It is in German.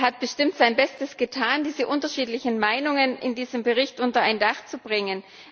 Er hat bestimmt sein Bestes getan, diese unterschiedlichen Meinungen in diesem Bericht unter ein Dach zu bringen.